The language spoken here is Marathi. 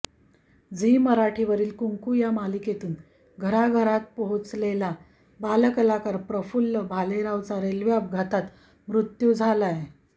झी मराठीवरील कुंकू या मालिकेतून घराघरात पोहोचलेला बालकलाकार प्रफुल्ल भालेरावचा रेल्वे अपघातात मृत्यू झालाय